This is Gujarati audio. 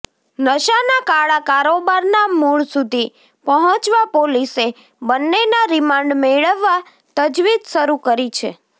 નશાના કાળા કારોબારના મૂળ સુધી પહોંચવા પોલીસે બન્નેના રિમાન્ડ મેળવવા તજવીજ શરૂ કરી છે